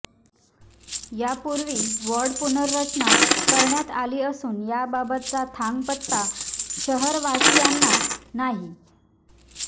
यापूर्वी वॉर्ड पुनर्रचना करण्यात आली असून याबाबतचा थांगपत्ता शहरवासियांना नाही